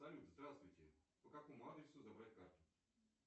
салют здравствуйте по какому адресу забрать карту